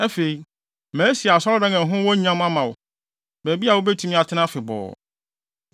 Afei, masi Asɔredan a ɛho wɔ nyam ama wo, baabi a wubetumi atena afebɔɔ.”